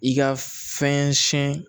I ka fɛn siyɛn